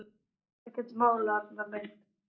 Þetta er ekkert mál, Arnar minn.